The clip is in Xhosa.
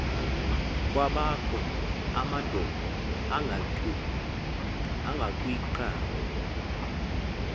kwabakho amadoda angakwicala